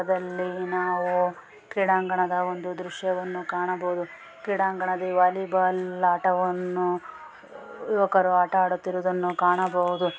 ಇದರಲಿ ನಾವು ಕ್ರೀಡಾಂಗಣದ ಒಂದು ದೃಶ್ಯವನ್ನು ಕಾಣಬಹುದು. ಕ್ರೀಡಾಂಗಣದ ಈ ವಾಲಿಬಾಲ್ ಆಟವನ್ನು ಯುವಕರು ಆಟವಾಡುತಿರುವುದನ್ನು ನಾವು ಕಾಣಬಹುದು.